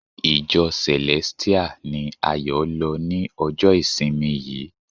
Ìjọ Celestial ni Ayo lọ ni ọjọ ìsinmi yìí.